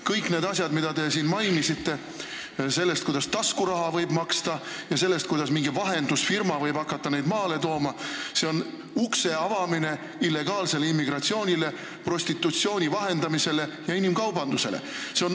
Kõik need asjad, mida te siin mainisite – see, kuidas võib hakata taskuraha maksma, ja see, kuidas mingi vahendusfirma võib hakata neid maale tooma –, on ukse avamine illegaalsele immigratsioonile, prostitutsiooni vahendamisele ja inimkaubandusele.